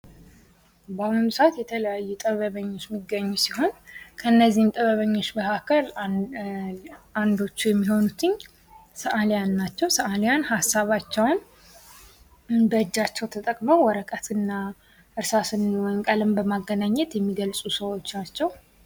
በአሁኑ ሰዓት የተለያዩ ጥበበኞች የሚገኙ ሲሆን ከነዚህም ጥበበኞች መካከል አንዶቹ የሚሆኑት ሰአሊያን ናቸው። ሰዓሊያን ሀሳባቸውን በእጃቸውን ተጠቅመው ወረቀት እና እርሳስን ቀለም በማገናኘት የሚገልጹ ሰዎች ናቸው።